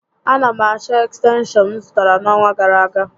A na m achọ ekstenshọn m zụtara n'ọnwa gàrà aga